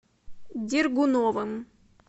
дергуновым